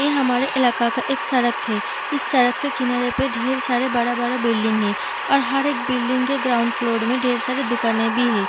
ये हमारे इलाका का एक सड़क है | इस सड़क के किनारे पे ढेर सारे बड़ा बड़ा बिल्डिंग है और हर एक बिल्डिंग के ग्राउंड फ्लोर में ढेर सारे दुकाने भी है |